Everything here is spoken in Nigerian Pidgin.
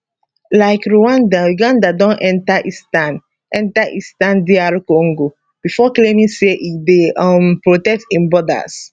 like rwanda uganda don enta eastern enta eastern dr congo before claiming say e dey um protect im borders